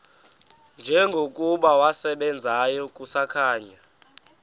njengokuba wasebenzayo kusakhanya